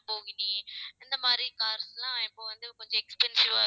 இந்த மாதிரி cars எல்லாம் இப்ப வந்து கொஞ்சம் expensive ஆ